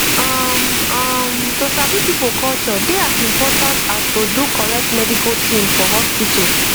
um um to sabi people culture dey as important as to do correct medical thing for hospital